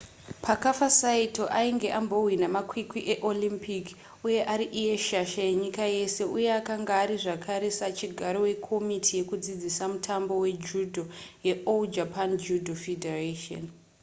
paakafa saito ainge ambohwina makwikwi eolympic uye ari iye shasha yenyika yese uye akanga ari zvekare sachigaro wekomiti yekudzidzisa mutambo wejudo yeall japan judo federation